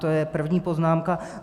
To je první poznámka.